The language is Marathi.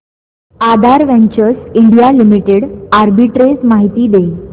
आधार वेंचर्स इंडिया लिमिटेड आर्बिट्रेज माहिती दे